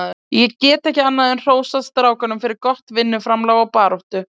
Ég get ekki annað en hrósað strákunum fyrir gott vinnuframlag og baráttu.